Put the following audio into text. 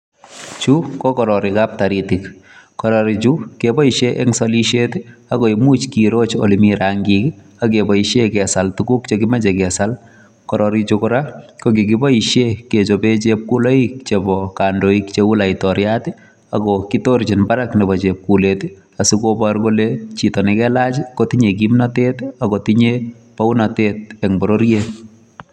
Chuu ko kororokab taritiik kororoik chuu kebaisheen eng salisiet ii ako imuuch kebaisheen eng ole Mii rangiik ak kebaisheen kesaal tuguuk che kakimachei kesaal kororoik chuu kora kikibaishen kechapeen chepkulit olaan bo kandoik che uu laitoriat ako kitorchiin Barak chepkulet ii asikobor kole chito ne kalaach kotinyei kimnatet ako tinye bounatet en bororiet.